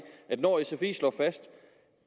at når sfi slår fast